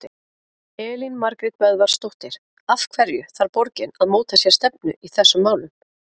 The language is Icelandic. Elín Margrét Böðvarsdóttir: Af hverju þarf borgin að móta sér stefnu í þessum málum?